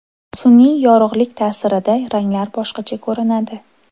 Sun’iy yorug‘lik ta’sirida ranglar boshqacha ko‘rinadi.